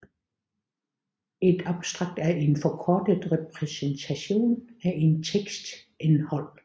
Et abstrakt er en forkortet repræsentation af en teksts indhold